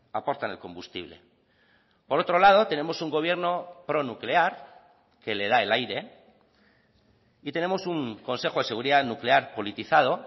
aportan el combustible por otro lado tenemos un gobierno pronuclear que le da el aire y tenemos un consejo de seguridad nuclear politizado